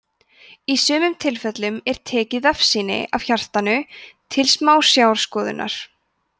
í sumum tilfellum er tekið vefjasýni af hjartanu til smásjárskoðunar